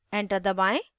enter दबाएं